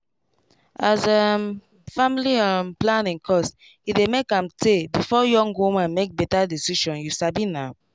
as um family um planning cost he dey make am tay before young woman make better decision you sabi na